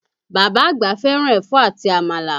Bàbá àgbà fẹ́ràn ẹ̀fọ́ àti Àmàlà